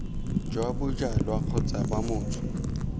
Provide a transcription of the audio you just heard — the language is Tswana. jwa bojalwa kgotsa b motho